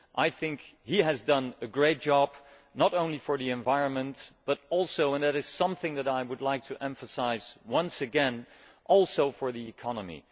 I think he has done a great job, not only for the environment but also and this is something that I would like to emphasise once again for the economy.